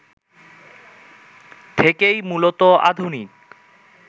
থেকেই মূলত আধুনিক